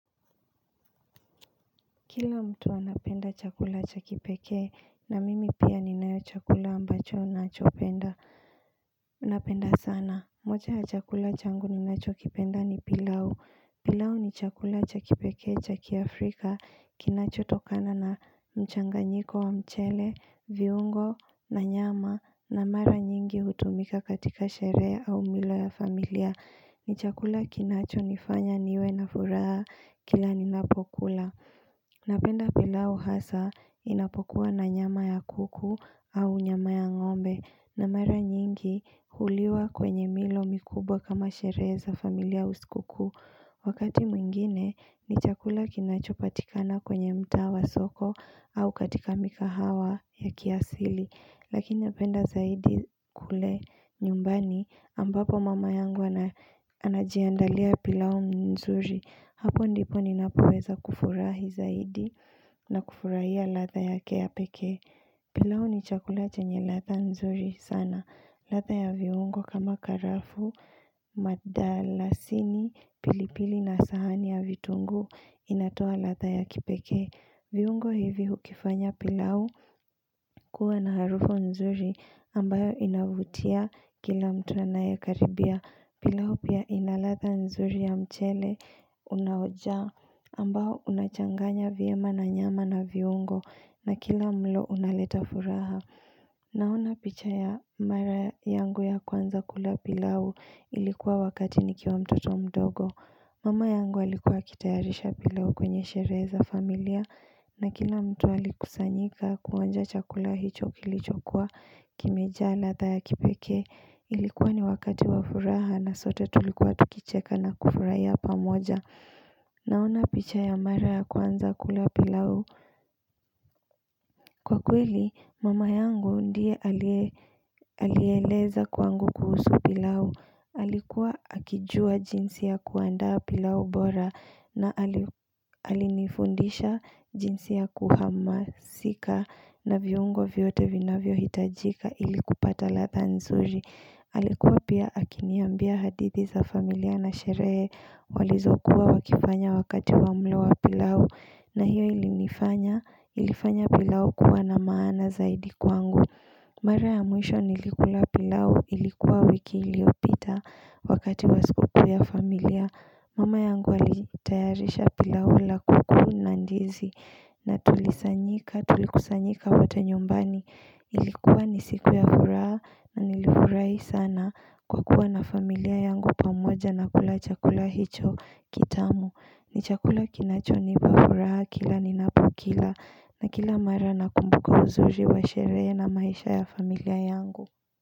Kila mtu anapenda chakula cha kipekee na mimi pia ninacho chakula ambacho ninachopenda, napenda sana moja ya chakula changu ninachokipenda ni pilau pilau ni chakula cha kipekee chaki afrika kinachotokana na mchanganyiko wa mchele, viungo na nyama na mara nyingi hutumika katika sherehe au milo ya familia ni chakula kinachonifanya niwe na furaha kila ninapokula Napenda pilau hasaa inapokuwa na nyama ya kuku au nyama ya ng'ombe na mara nyingi huliwa kwenye milo mikubwa kama sherehe za familia au sikukuu Wakati mwingine ni chakula kinachopatikana kwenye mtaa wa soko au katika mikahawa ya kiasili Lakini napenda zaidi kule nyumbani ambapo mama yangu anajiandalia pilau nzuri Hapo ndipo ninapoweza kufurahi zaidi na kufurahia ladha yake ya pekee pilau ni chakula chenye ladha nzuri sana ladha ya viungo kama karafuu, madalasini, pilipili na sahani ya vitunguu inatoa ladha ya kipekee viungo hivi hukifanya pilau kuwa na harufu nzuri ambayo inavutia kila mtu anayekaribia. Pilau pia ina latha nzuri ya mchele unaojaa ambao unachanganya vyema na nyama na viungo na kila mlo unaleta furaha. Naona picha ya mara yangu ya kwanza kula pilau ilikuwa wakati nikiwa mtoto mdogo. Mama yangu alikuwa akitayarisha pilau kwenye sherehe za familia na kila mtu alikusanyika kuonja chakula hicho kilichokuwa kimejaa ladha ya kipekee Ilikuwa ni wakati wafuraha na sote tulikuwa tukicheka na kufurahia pamoja Naona picha ya mara ya kwanza kula pilau Kwa kweli mama yangu ndiye aliyeeleza kwangu kuhusu pilau Alikuwa akijua jinsi ya kuandaa pilau bora na alinifundisha jinsi ya kuhamasika na viungo vyote vinavyohitajika ilikupata ladha nzuri. Alikuwa pia akiniambia hadithi za familia na sherehe walizokuwa wakifanya wakati wamlo wa pilau na hiyo ilifanya pilau kuwa na maana zaidi kwangu. Mara ya mwisho nilikula pilau ilikuwa wiki iliopita wakati wa sikukuu ya familia Mama yangu alitayarisha pilau la kuku na ndizi na tulikusanyika tulikusanyika wote nyumbani Ilikuwa ni siku ya furaha na nilifurahi sana kwa kuwa na familia yangu pamoja na kula chakula hicho kitamu ni chakula kinachonipa furaha kila ninapokila na kila mara nakumbuka uzuri wa sherehe na maisha ya familia yangu.